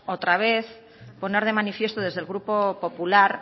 otra vez poner de manifiesto desde el grupo popular